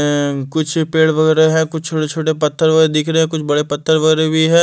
कुछ पेड़ वगैरह है कुछ छोटे-छोटे पत्थर व दिख रहे हैं कुछ बड़े पत्थर वगैरह भी है।